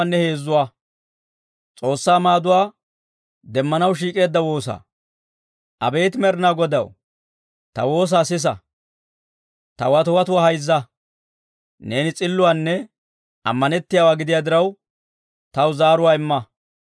Abeet Med'inaa Godaw, ta woosaa sisa; ta watiwatuwaa hayzza. Neeni s'illuwaanne ammanettiyaawaa gidiyaa diraw, taw zaaruwaa imma.